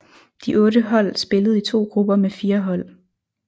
De otte hold spillede i to grupper med fire hold